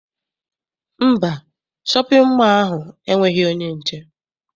Mba, shọpịn mọọ ahụ enweghị onye nche.